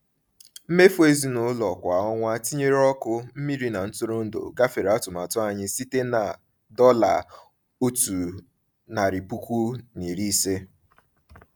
Mmefu ezinụlọ kwa ọnwa, tinyere ọkụ, mmiri na ntụrụndụ, gafere atụmatụ anyị site na $150.